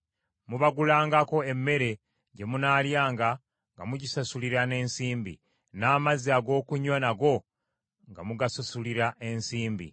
Mubagulangako emmere gye munaalyanga nga mugisasulira n’ensimbi, n’amazzi ag’okunywa nago nga mugasasulira ensimbi.’ ”